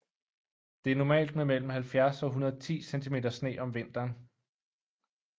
Det er normalt med mellem 70 og 110 cm sne om vinteren